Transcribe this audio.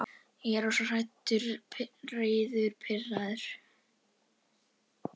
Ég er rosalega hræddur, reiður, pirraður.